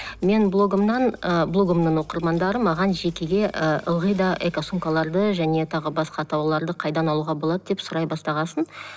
мен блогымнан ы блогымның оқырмандары маған жекеге ы ылғи да экосумкаларды және тағы басқа тауарларды қайдан алуға болады деп сұрай бастаған соң